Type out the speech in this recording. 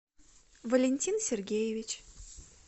валентин сергеевич